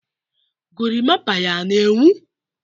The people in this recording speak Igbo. gorimapa ya na-enwu?